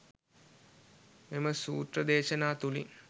මෙම සූත්‍ර දේශනා තුළින්